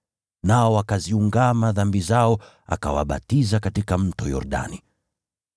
Nao wakaziungama dhambi zao, akawabatiza katika Mto Yordani.